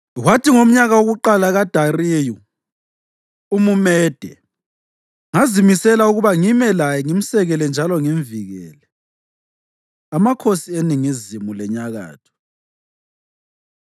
Kwathi ngomnyaka wokuqala kaDariyu umuMede, ngazimisela ukuba ngime laye ngimsekele njalo ngimvikele.)” Amakhosi Eningizimu Lenyakatho